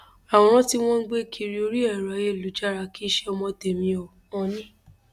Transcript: àwòrán tí wọn ń gbé kiri orí ẹrọ ayélujára kì í ṣe ọmọ tẹmí o òónì